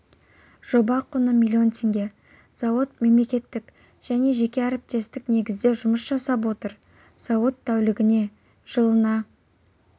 жоба құны млн теңге зауыт мемлекеттік және жеке әріптестік негізде жұмыс жасап отыр зауыт тәулігіне жылына